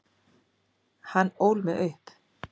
Hann ól mig upp.